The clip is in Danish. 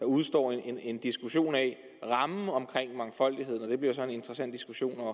udestår en diskussion af rammen omkring mangfoldigheden og det bliver så en interessant diskussion at